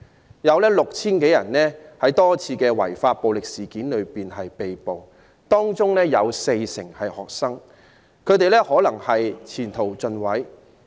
至今合共 6,000 多人在多次違法暴力事件中被捕，當中 40% 是學生，他們可能前途盡毀。